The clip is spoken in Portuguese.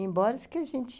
Embora isso que a gente